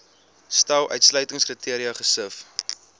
stel uitsluitingskriteria gesif